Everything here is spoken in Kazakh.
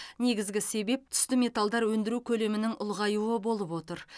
негізгі себеп түсті металдар өндіру көлемінің ұлғаюы болып отыр